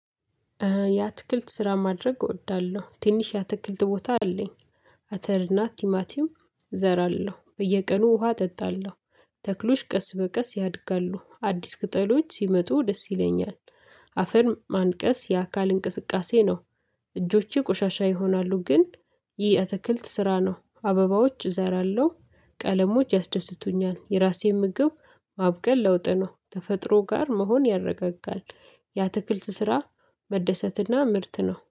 ያትክልት ስራ ማድረግ እወዳለሁ ትንሽ ያትክልት ቦታ አለኝ። አተርና ቲማቲም እዘራለሁ በየቀኑ ውሃ እጠጣለሁ። ተክሎች ቀስ በቀስ ያድጋሉ አዲስ ቅጠሎች ሲመጡ ደስ ይለኛል። አፈር ማንቀስ የአካል እንቅስቃሴ ነው። እጆቼ ቆሻሻ ይሆናሉ ግን ይህ የአትክልት ስራ ነው አበባዎች እዘራለሁ ቀለሞች ያስደስቱኛል። የራሴን ምግብ ማብቀል ለውጥ ነው። ተፈጥሮ ጋር መሆን ያረጋጋል። ያትክልት ስራ መደሰትና ምርት ነው